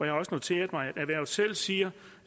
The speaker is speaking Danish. har også noteret mig at erhvervet selv siger